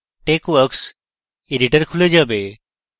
texworks editor খুলে যাবে